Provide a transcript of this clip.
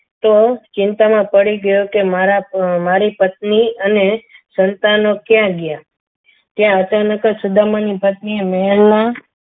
તો ચિંતામાં પડી ગયો કે મારા મારી પત્ની અને સંતાનો ક્યાં ગયા ત્યાં અચાનક જ સુદામાની પત્નીએ મહેલમાં